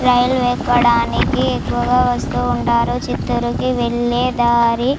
రైలు ఎక్కడానికి ఎక్కువగా వస్తూ ఉంటారు చిత్తూరుకు వెళ్లే దారి.